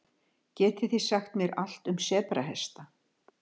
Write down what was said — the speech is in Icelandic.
Getið þið sagt mér allt um sebrahesta?